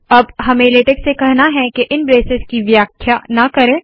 अब हमें लेटेक से कहना है के इन ब्रेसेस की व्याख्या ना करे